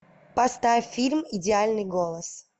поставь фильм идеальный голос